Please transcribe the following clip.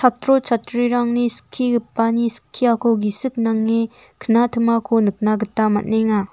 chatro chatrirangni skigipani skiako gisik nange knatimako nikna gita man·enga.